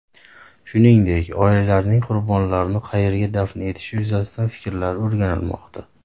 Shuningdek, oilalarning qurbonlarni qayerga dafn etilishi yuzasidan fikrlari o‘rganilmoqda.